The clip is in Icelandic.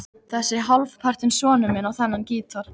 Þessi hálfpartinn sonur minn á þennan gítar.